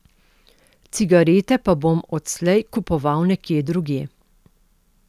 Cigarete pa bom odslej kupoval nekje drugje.